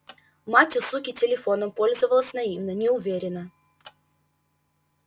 мать у суки телефоном пользовалась наивно неуверенно